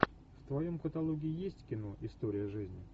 в твоем каталоге есть кино история жизни